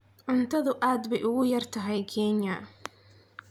Cuntadu aad bay ugu yaraatay Kenya.